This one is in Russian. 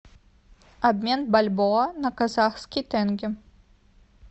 обмен бальбоа на казахский тенге